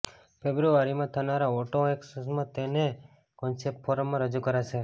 ફેબ્રુઆરીમાં થનારા ઓટો એક્સપોમાં તેને કોન્સેપ્ટ ફોર્મમાં રજૂ કરાશે